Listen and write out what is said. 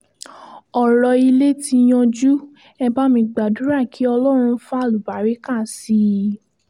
ọ̀rọ̀ ilé tí yanjú ẹ̀ bá mi gbàdúrà kí ọlọ́run fàlùbáràkà sí i